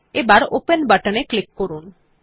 এখন open button এ click করুন